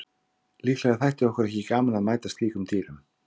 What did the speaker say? Líklega þætti okkur ekki gaman að mæta slíkum dýrum.